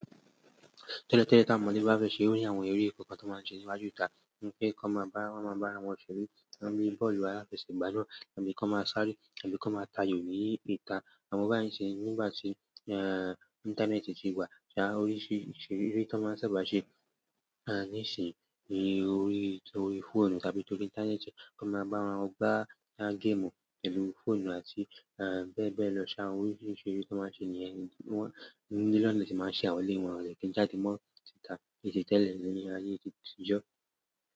Tẹ́lẹ̀ tẹ́lẹ̀ tí àwọn ọmọdé bá fẹ́ ṣe eré, ó ní àwọn eré kọ̀ọ̀kan tó máa ń ṣe níwájú ìta. Ní pé ko máa bá, ko máa bá ará wọn ṣeré, oni bọ́ọ̀lù aláfẹsẹ̀gbà lo wa, tàbí kí wọ́n máa sáré, tàbí kí wọ́n máa ta ayò ní ìta. Àmọ́ báyìí nisin nígbà tí, íńtánẹ́ẹ̀tì ti wà, ti ìrísí ìṣeré tó máa ń sábà ṣe, nísìnyí ni orí, orí fóònù tàbí torí íńtánẹ́ẹ̀tì. O máa bá ará wọn gbà game pẹ̀lú fóònù àti bẹ́ẹ̀ bẹ́ẹ̀ lọ. Lára áwọ́n oríṣiríṣi eré tó máa ń ṣe nìyẹn, wọ́n, nínú ilé náà ni wọ́n tì máa ń ṣẹ̀ awọ̀n eléyìí, wọ́n de kí jáde mọ́ sìta biti tẹ́lẹ̀ ni ayé ti ti jọ́.